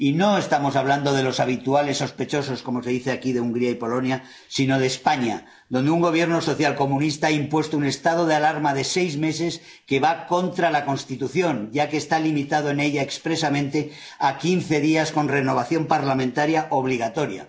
Y no estamos hablando de los habituales sospechosos —como se dice aquí de Hungría y Polonia—, sino de España, donde un Gobierno socialcomunista ha impuesto un estado de alarma de seis meses que va contra la Constitución, ya que está limitado en ella expresamente a quince días, con renovación parlamentaria obligatoria.